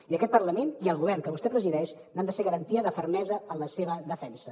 i aquest parlament i el govern que vostè presideix han de ser garantia de fermesa en la seva defensa